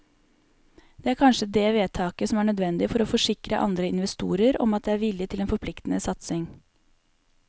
Det er kanskje det vedtaket som er nødvendig for å forsikre andre investorer om at det er vilje til en forpliktende satsing.